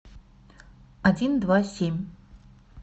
один два семь